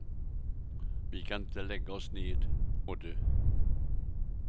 Vi kan inte lägga oss ned och dö.